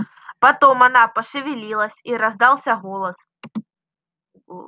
потом она пошевелилась и раздался голос